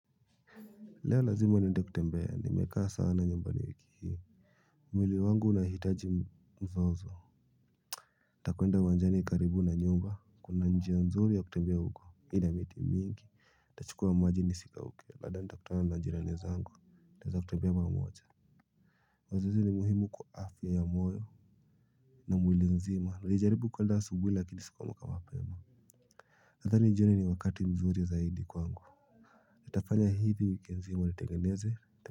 Leo lazima niende kutembea nimekaa sana nyumbani wiki hii mwili wangu unahitaji mzozo takwenda uwanjani karibu na nyumba kuna njia nzuri ya kutembea huko ina miti mingi tachukua maji nisikauke lada ntakutana na jirani zangu taeza kutembea pamoja wazizi ni muhimu kwa afya ya moyo na mwili nzima nilijaribu kwenda asubuhi lakini sikuamka mapema nadhani jioni ni wakati mzuri zaidi kwangu nitafanya hivi wiki nzima litengeneze.